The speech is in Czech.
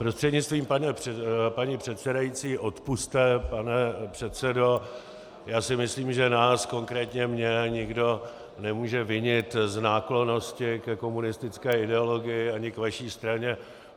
Prostřednictvím paní předsedající, odpusťte pane předsedo, já si myslím, že nás, konkrétně mne, nikdo nemůže vinit z náklonnosti ke komunistické ideologii ani k vaší straně.